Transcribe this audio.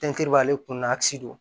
Tɛntɛnni b'ale kun na a ti don